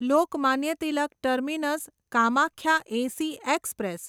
Lokmanya Tilak terminus Kamakhya AC express